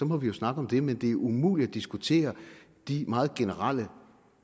må vi jo snakke om det men det er umuligt at diskutere de meget generelle